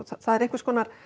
það er einhvers konar